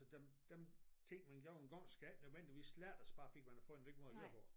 Der der ting man gjorde engang skal ikke nødvendigvis slettet bare fordi man har fundet en ny måde at gøre det på